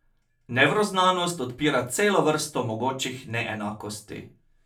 Nevroznanost odpira celo vrsto mogočih neenakosti.